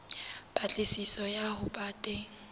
patlisiso ya ho ba teng